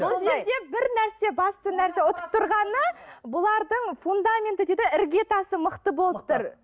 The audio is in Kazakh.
бұл жерде бір нәрсе басты нәрсе ұтып тұрғаны бұлардың фундаменті дейді ғой іргетасы мықты болып тұр